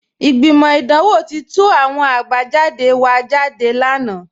Ìgbimọ́ idanwò ti tú àwọn àbájàdé wa jádé lánà